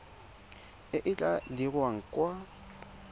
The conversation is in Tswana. e e tla dirwang kwa